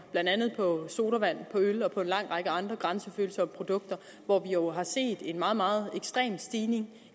blandt andet på sodavand på øl og på en lang række andre grænsefølsomme produkter hvor vi jo har set en meget meget ekstrem stigning